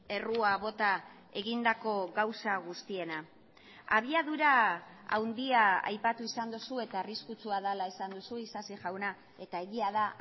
errua bota egindako gauza guztiena abiadura handia aipatu izan duzu eta arriskutsua dela esan duzu isasi jauna eta egia da